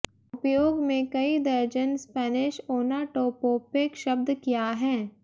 उपयोग में कई दर्जन स्पेनिश ओनाटोपोपिक शब्द क्या हैं